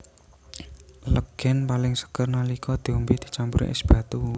Legèn paling seger nalika diombé dicampuri ès batu